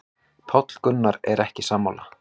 Páll Gunnar er ekki sammála.